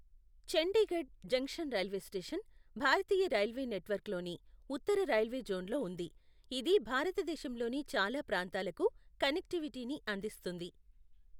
Chandigarh junction railway station, భారతీయ railway నెట్వర్క్లోని ఉత్తర రైల్వే జోన్లో ఉంది, ఇది భారతదేశంలోని చాలా ప్రాంతాలకు కనెక్టివిటీని అందిస్తుంది.